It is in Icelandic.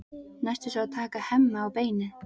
Næst er svo að taka Hemma á beinið.